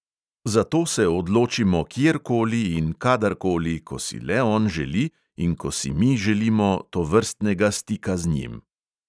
Za to se odločimo kjerkoli in kadarkoli, ko si le on želi in ko si mi želimo tovrstnega stika z njim.